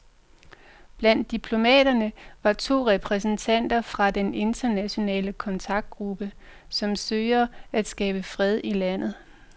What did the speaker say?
Blandt diplomaterne var to repræsentanter fra den internationale kontaktgruppe, som søger at skabe fred i landet.